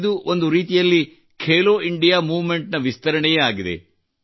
ಇದು ಒಂದು ರೀತಿಯಲ್ಲಿ ಖೆಲೊ ಇಂಡಿಯಾ ಮೂವ್ಮೆಂಟ್ ನ ವಿಸ್ತರಣೆಯೇ ಆಗಿದೆ